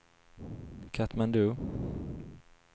Katmandu